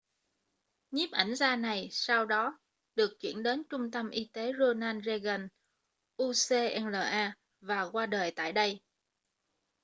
nhiếp ảnh gia này sau đó được chuyển đến trung tâm y tế ronald reagan ucla và qua đời tại đây